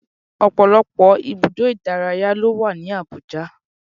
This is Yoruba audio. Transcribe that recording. Ọ̀pọ̀lọpọ̀ ibùdó ìdárayá ló wà ní Abuja